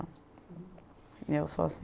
E eu sou assim.